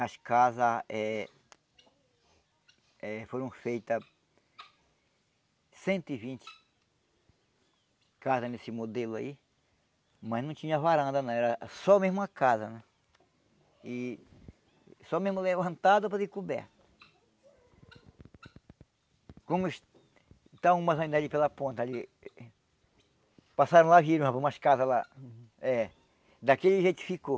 as casas eh eh foram feitas cento e vinte casas nesse modelo aí mas não tinha varanda não, era só mesmo a casa e só mesmo levantado para ter coberta como estão umas ainda ali pela ponta ali passaram lá, viram umas casas lá eh daquele jeito ficou